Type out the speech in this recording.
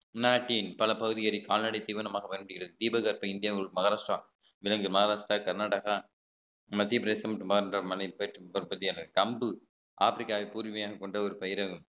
நாட்டின் பல பகுதிகளில் கால்நடை தீவனமாக விளங்கிடும் தீபகற்ப இந்தியாவில் மகாராஷ்டிரா விலங்கு மகாராஷ்டிரா கர்நாடகா மத்திய பிரதேசம் தொடர்பதியான கம்பு ஆப்பிரிக்காவை பூர்வீகம் கொண்ட ஒரு பயிரை